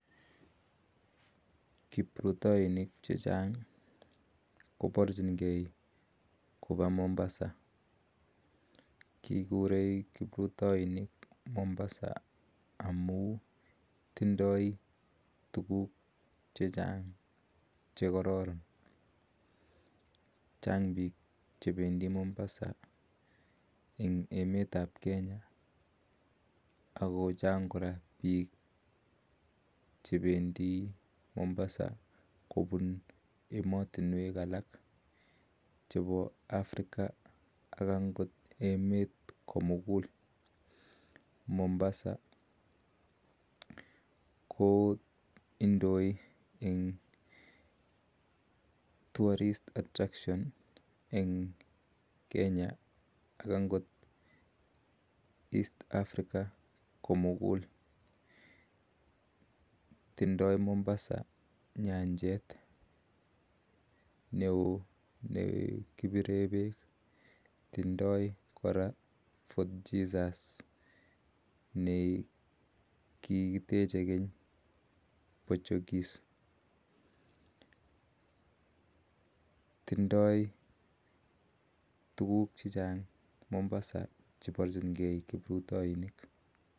Kiprutoinik chechaang koparchin gee kopaa mombasa amun tinyee tuguuk chekararan ako chaang piik chependii mombasa chepo africa ak angoot emet ko muguul indoii missing eng nyanjeet neoo missing nekipireen peek tindoii koraa tegitiik ap portugis